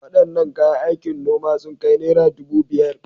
Wadannan kayan aikin noma sun kai naira dubu biyar.